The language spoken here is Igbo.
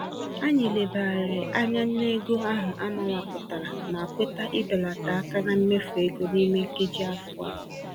Anyị lebagharịrị anya n'ego ahụ amawapụtara ma kweta ibelata àkà na mmefu égo n'ime nkeji afọ a.